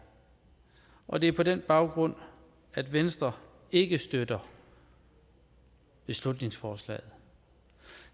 og det er på den baggrund at venstre ikke støtter beslutningsforslaget